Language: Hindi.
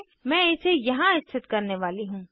मैं इसे यहाँ स्थित करने वाली हूँ